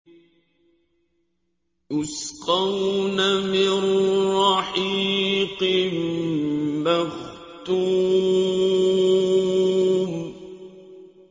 يُسْقَوْنَ مِن رَّحِيقٍ مَّخْتُومٍ